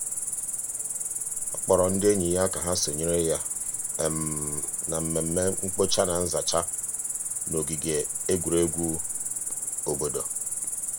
ọ kpọrọ ndị enyi ya ka ha sonyere ya na mmemme mkpocha na nzacha n'ogige egwuregwu obodo.